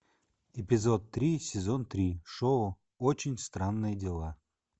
эпизод три сезон три шоу очень странные дела